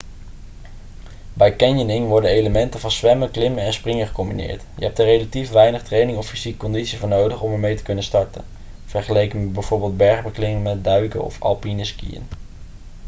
bij canyoning worden elementen van zwemmen klimmen en springen gecombineerd. je hebt er relatief weinig training of fysieke conditie voor nodig om ermee te kunnen starten vergeleken met bijvoorbeeld bergbeklimmen duiken of alpineskiën